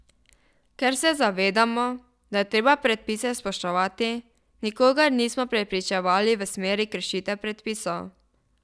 Ker se zavedamo, da je treba predpise spoštovati, nikogar nismo prepričevali v smeri kršitev predpisov.